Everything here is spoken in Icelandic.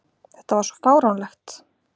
Þetta var svo fáránlegt!